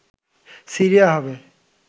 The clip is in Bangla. সিরিয়া হবে